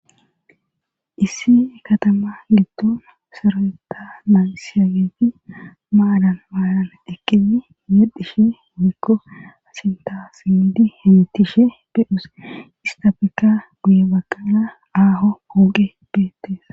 Issi ekatama liddoon saraeta nansiageefi maalan maalan ekini himedhishe mumikko asintasidi himitishe bedhus istafika guye baqana aaho pooqe beettees